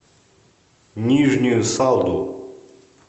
нижнюю салду